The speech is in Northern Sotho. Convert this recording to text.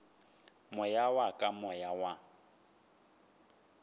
moya wa ka moya wa